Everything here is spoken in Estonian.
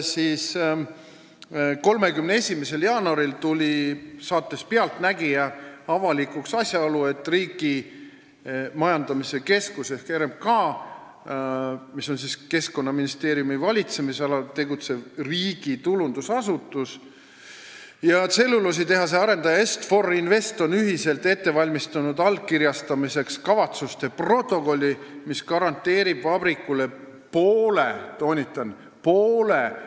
31. jaanuaril tuli saates "Pealtnägija" avalikuks asjaolu, et Riigimetsa Majandamise Keskus ehk RMK, mis on Keskkonnaministeeriumi valitsemisalas tegutsev riigitulundusasutus, ja tselluloositehase arendaja Est-For Invest on allkirjastamiseks ühiselt ette valmistanud kavatsuste protokolli, mis garanteerib vabrikule poole – toonitan, poole!